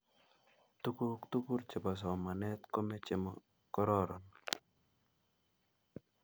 tukuk tugul che bo somanet komechee mo kororon